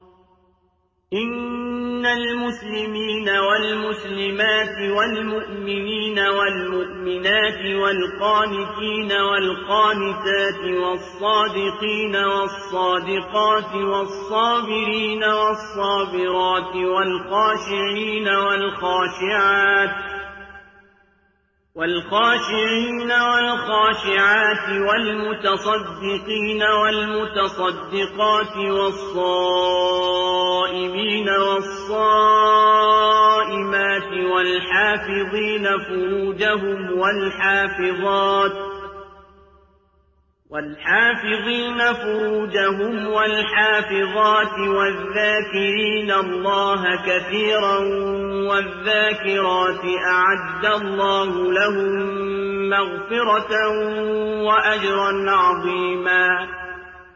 إِنَّ الْمُسْلِمِينَ وَالْمُسْلِمَاتِ وَالْمُؤْمِنِينَ وَالْمُؤْمِنَاتِ وَالْقَانِتِينَ وَالْقَانِتَاتِ وَالصَّادِقِينَ وَالصَّادِقَاتِ وَالصَّابِرِينَ وَالصَّابِرَاتِ وَالْخَاشِعِينَ وَالْخَاشِعَاتِ وَالْمُتَصَدِّقِينَ وَالْمُتَصَدِّقَاتِ وَالصَّائِمِينَ وَالصَّائِمَاتِ وَالْحَافِظِينَ فُرُوجَهُمْ وَالْحَافِظَاتِ وَالذَّاكِرِينَ اللَّهَ كَثِيرًا وَالذَّاكِرَاتِ أَعَدَّ اللَّهُ لَهُم مَّغْفِرَةً وَأَجْرًا عَظِيمًا